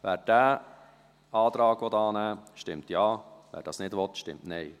Wer diesen Antrag annehmen will, stimmt Ja, wer dies nicht will, stimmt Nein.